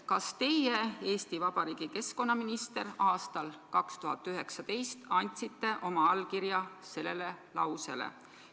Kas teie, Eesti Vabariigi keskkonnaminister aastal 2019, andsite oma allkirja sellele lausele?